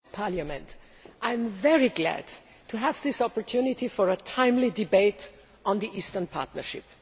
Mr President, I am very glad to have this opportunity for a timely debate on the Eastern Partnership.